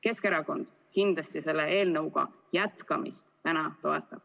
Keskerakond kindlasti selle eelnõu menetluse jätkamist täna toetab.